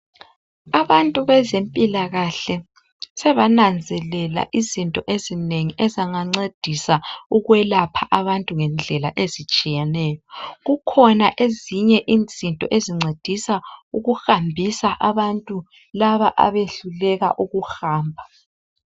Abantu bezempilakahle sebananzelela izinto ezinengi ezingancedisa ukwelapha abantu ngendlela ezitshiyeneyo kukhona ezinye izinto esincedisa ukuhambisa abantu laba abahluleka ukuhamba.